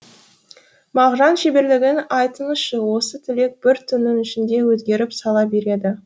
мағжан шеберлігін айтыңызшы осы тілек бір түннің ішінде өзгеріп сала береді